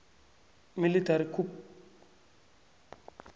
military coup